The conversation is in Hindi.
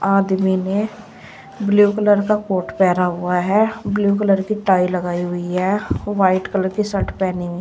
आदमी ने बिलु कलर का कोट पहना हुआ है ब्लू कलर की टाई लगाई हुई है व्हाइट कलर की शर्ट पहनी हुइ --